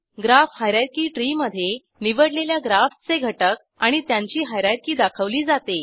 graph हायररची त्री मधे निवडलेल्या ग्राफचे घटक आणि त्यांची हायरार्की दाखवली जाते